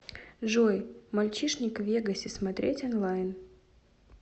джой мальчишник в вегасе смотреть онлайн